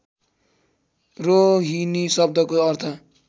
रोहिणी शब्दको अर्थ